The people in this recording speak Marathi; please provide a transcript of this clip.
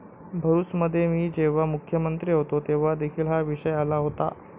भरुचमध्ये मी जेव्हा मुख्यमंत्री होतो तेव्हा देखील हा विषय आला होता.